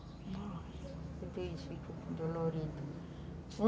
Então, isso ficou dolorido.